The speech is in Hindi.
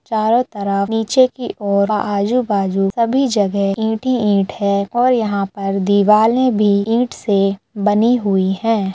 चारों तरफ नीचे की ओर आजु बाजु सभी जगह ईंट ही ईंट हैं और यहाँ पर दीवालें भी ईंट से बनी हुई हैं।